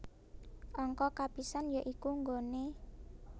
Angka kapisan ya iku nggone